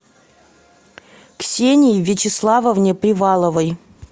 ксении вячеславовне приваловой